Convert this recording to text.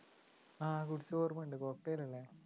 ആ കുടിച്ചതോർമ്മയുണ്ട് cocktail അല്ലേ?